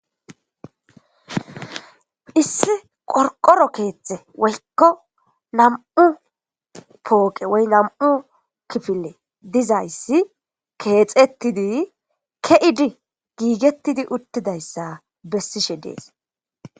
Issi qorqoro keethte woykko nam'u pooqe woy nam'u kifile dizayssi keexettidi ke'idi giigettidi uttidayssa bessishe dees.